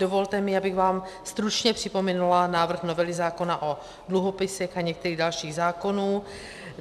Dovolte mi, abych vám stručně připomenula návrh novely zákona o dluhopisech a některých dalších zákonů.